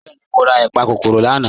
Bẹẹni, mọ̀ rà ìpàkọ́kọ́rò lànà.